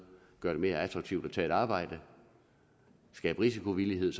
gøre det mere attraktivt at tage et arbejde skabe risikovillighed